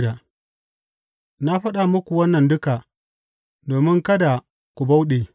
Na faɗa muku wannan duka, domin kada ku bauɗe.